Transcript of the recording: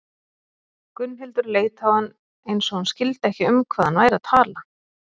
Gunnhildur leit á hann eins og hún skildi ekki um hvað hann væri að tala.